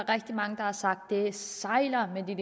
rigtig mange der har sagt at det sejler med den